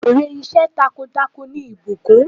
Èrè iṣẹ́ takuntakun ni ìbùkùn.